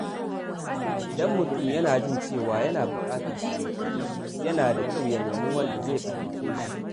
Idan mutum yana jin cewa yana buƙatar taimako, yana da kyau ya nemi wanda zai fahimce shi.